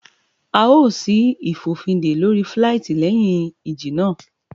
À ó ṣí ìfòfindè lóri fíláìtí léhìn ìjì náà